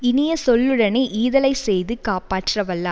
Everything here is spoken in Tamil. இனிய சொல்லுடனே ஈதலைச் செய்து காப்பாற்ற வல்ல